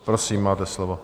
Prosím, máte slovo.